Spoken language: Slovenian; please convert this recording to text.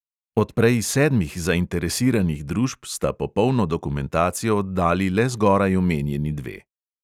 Od prej sedmih zainteresiranih družb sta popolno dokumentacijo oddali le zgoraj omenjeni dve.